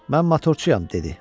Mən motorçuyam, dedi.